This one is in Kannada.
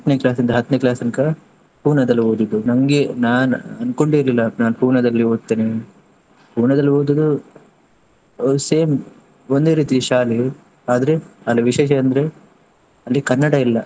Class ಇಂದ ಹತ್ತನೇ class ತನ್ಕ Pune ದಲ್ಲಿ ಓದಿದ್ದು, ನಂಗೆ ನಾನು ಅನ್ಕೊಂಡೆ ಇರ್ಲಿಲ್ಲ ನಾನ್ Pune ದಲ್ಲಿ ಓದ್ತೇನೆ. Pune ದಲ್ಲಿ ಓದುದು same ಒಂದೇ ರೀತಿ ಶಾಲೆ ಆದ್ರೆ ಅಲ್ಲಿ ವಿಶೇಷ ಅಂದ್ರೆ ಅಲ್ಲಿ ಕನ್ನಡ ಇಲ್ಲಾ.